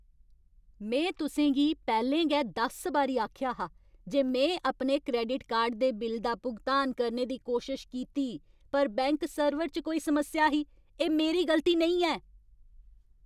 में तुसें गी पैह्लें गै दस बारी आखेआ हा जे में अपने क्रैडिट कार्ड दे बिल दा भुगतान करने दी कोशश कीती पर बैंक सर्वर च कोई समस्या ही। एह् मेरी गलती नेईं ऐ!